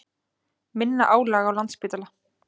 Minna álag á Landspítala